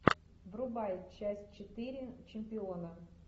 врубай часть четыре чемпиона